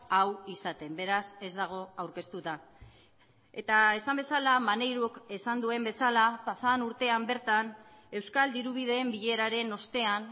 hau izaten beraz ez dago aurkeztuta eta esan bezala maneirok esan duen bezala pasaden urtean bertan euskal dirubideen bileraren ostean